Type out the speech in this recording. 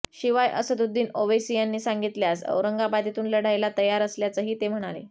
शिवाय असदुद्दीन ओवैसी यांनी सांगितल्यास औरंगाबादेतून लढायला तयार असल्याचंही ते म्हणाले